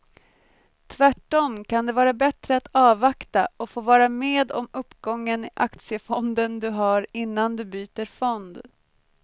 Tvärtom kan det vara bättre att avvakta och få vara med om uppgången i aktiefonden du har innan du byter fond.